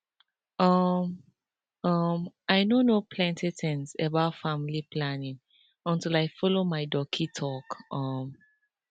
um um i no know plenty things about family planning until i follow my doci talk um